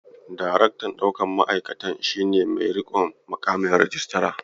Daraktan ɗaukan ma'aikata shi ne mai riƙon miƙamin rijistara.